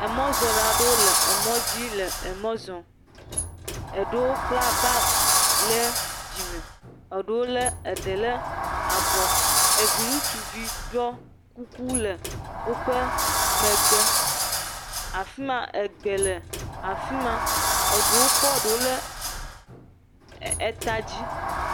Emɔzɔla aɖewo le emɔ dzi le emɔ zɔm. Eɖewo kpla bag ɖe dzime, eɖewo lé eɖe le abɔ. Evi ŋutsuvi ɖɔ kuku le woƒe megbe. Afi ma egbe le afi ma. Eɖewo kɔ ɖewo le eta dzi.